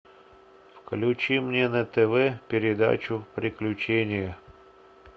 включи мне на тв передачу приключения